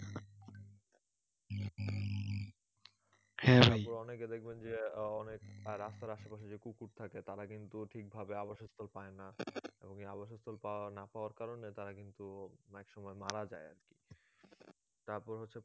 তারপর অনেকে দেখবেন যে আহ অনেক রাস্তার আসেপাশে যে কুকুর থাকে তারা কিন্তু ঠিকভাবে আবাসস্থল পায়না এবং এই আবাসস্থল পাওয়ানা পাওয়ার কারণে তারা কিন্তু একসময় মারা যায় আরকি তারপর হচ্ছে